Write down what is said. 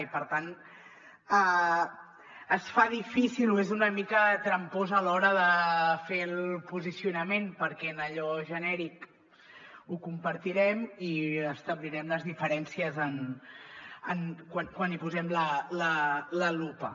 i per tant es fa difícil o és una mica trampós a l’hora de fer el posicionament perquè en allò genèric ho compartirem i establirem les diferències quan hi posem la lupa